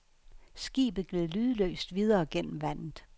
Skibet gled lydløst videre gennem vandet.